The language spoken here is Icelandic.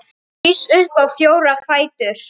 Rís upp á fjóra fætur.